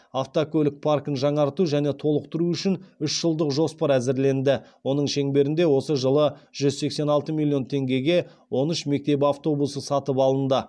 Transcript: автокөлік паркін жаңарту және толықтыру үшін үш жылдық жоспар әзірленді оның шеңберінде осы жылы жүз сексен алты миллион теңгеге он үш мектеп автобусы сатып алынды